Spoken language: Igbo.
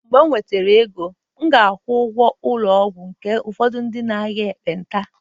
mgbe m nwetara ego, m ga-akwụ ụgwọ ụlọ ọgwụ nke ụfọdụ ndị na-arịa ekpenta